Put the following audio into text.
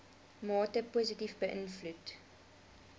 mate positief beïnvloed